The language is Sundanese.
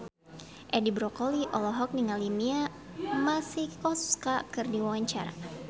Edi Brokoli olohok ningali Mia Masikowska keur diwawancara